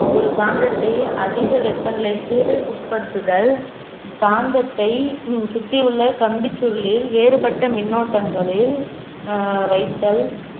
ஒரு காந்தத்தை அதிக வெப்பநிலைக்கு உட்படுத்துதல் காந்தத்தை ஹம் சுற்றியுள்ள கம்பிச் சுருளில் வேறுபட்ட மின்னோட்டங்களில் அஹ் வைத்தல்